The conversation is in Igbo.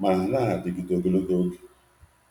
mana ha anaghị adịte aka.